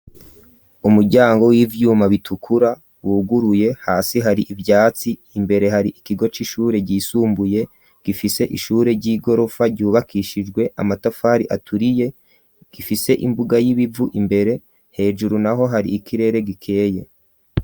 Umuryango w'ivyuma bitukura wuguruye hasi hari ivyatsi imbere hari ikigo c'ishure ryisumbuye gifise ishure ry'igorofa ryubakishijwe amatafari aturiye gifise imbuga y'ibivu imbere hejuru naho hari ikirere gikeye.